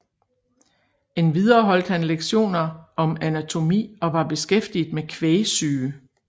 Endvidere holdt han lektioner om anatomi og var beskæftiget med kvægsyge